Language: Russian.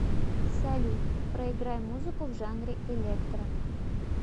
салют проиграй музыку в жанре электро